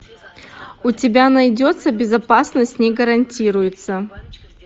у тебя найдется безопасность не гарантируется